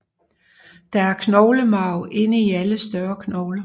Der er knoglemarv inde i alle større knogler